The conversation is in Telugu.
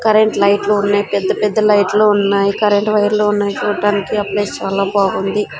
కరెంట్ లైట్ లు ఉన్నాయ్ పెద్ద పెద్ద లైట్ లు ఉన్నాయ్ కరెంట్ వైర్ లు ఉన్నాయ్ చూట్టానికి ఆ ప్లేస్ చాలా బాగుంది.